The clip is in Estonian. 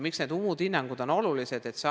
Miks need muud hinnangud on olulised?